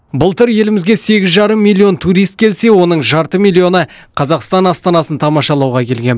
былтыр елімізге сегіз жарым миллион турист келсе оның жарты миллионы қазақстан астанасын тамашалауға келген